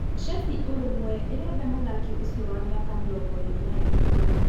Shefi ũrũmwe ĩrenda mũthaki ũcio wa mĩaka mĩrongoĩrĩ na ĩtatu.